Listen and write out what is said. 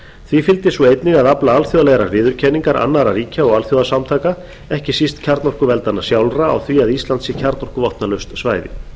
því fylgdi svo einnig að afla alþjóðlegrar viðurkenningar annarra ríkja og alþjóðasamtaka ekki síst kjarnorkuveldanna sjálfra á því að ísland sé kjarnorkuvopnalaust svæði